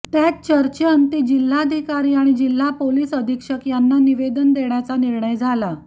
त्यात चर्चेअंती जिल्हाधिकारी आणि जिल्हा पोलीस अधीक्षक यांना निवेदन देण्याचा निर्णय झाला